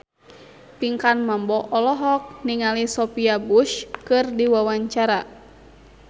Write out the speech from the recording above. Pinkan Mambo olohok ningali Sophia Bush keur diwawancara